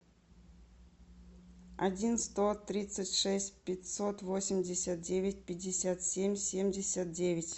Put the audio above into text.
один сто тридцать шесть пятьсот восемьдесят девять пятьдесят семь семьдесят девять